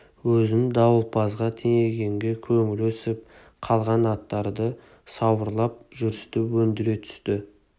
өзін дауылпазға теңегенге көңілі өсіп қалған аттарды сауырлап жүрісті өндіре түсті